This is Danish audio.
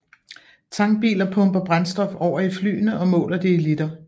Tankbiler pumper brændstof over i flyene og måler det i liter